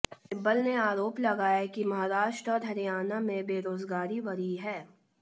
सिब्बल ने आरोप लगाया कि महाराष्ट्र और हरियाणा में बेरोजगारी बढ़ी है